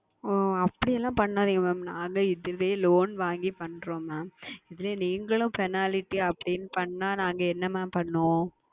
ஓ அப்படியெல்லாம் செய்யாதீர்கள் Mam நாங்கள் இதுவே Loan வாங்கி செய்கிறோம் இதில் நீங்களும் Penalty அப்படி என்று செய்தால் நாங்கள் என்ன Mam செய்வோம்